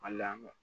A lamɛn